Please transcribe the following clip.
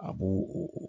A b'o